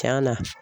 Tiɲɛna